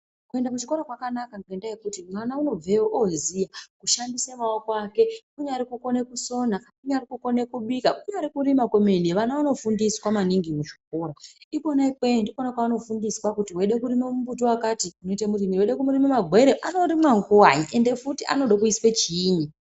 Ku enda kuchikora kwakanaka ngenda yekuti mwana uno bveyo oziya kushandise maoko ake kunyari kukone kusona kunyari kukone kubika kunyari kurima kwemene vana vano fundiswa maningi mu zvikora ikona ikweyo ndikona kwa ano fundiswa kuti weide kurima mbuti wakati unoita murimirei weida kurime magwere ano rimwe nguvai ende futi anode kuiswe chinyi.